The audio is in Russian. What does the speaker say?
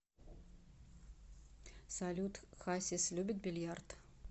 салют хасис любит бильярд